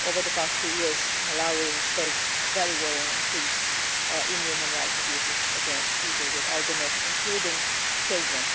Over the past two years, Malawi has faced a very worrying increase in human rights abuses against people with albinism, including children.